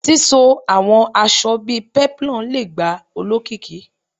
Sisọ awọn aṣa bii peplum le gba olokiki